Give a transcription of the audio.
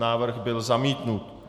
Návrh byl zamítnut.